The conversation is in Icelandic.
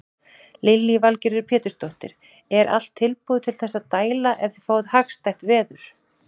Lillý Valgerður Pétursdóttir: Er allt tilbúið til þess að dæla ef þið fáið hagstætt veður?